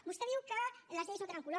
vostè diu que les lleis no tenen color